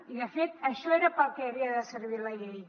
i de fet això era per al que havia de servir la llei